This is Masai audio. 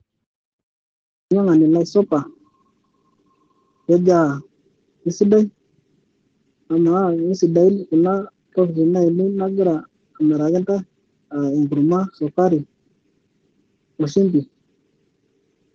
Olainyiang'ani Lai supa, kejaa kesidai amaa kesidain Kuna tokitin ainei nagira amiraki intae aa enkurma, esukari o shumbi.